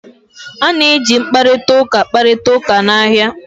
A na-eji mkparịta ụka kparịta ụka n'ahịa